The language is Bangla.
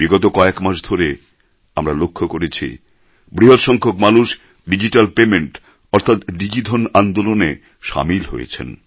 বিগত কয়েক মাস ধরে আমরা লক্ষ করেছি বৃহৎ সংখ্যক মানুষ ডিজিট্যাল পেমেণ্ট অর্থাৎ ডিজিধন আন্দোলনে সামিল হয়েছেন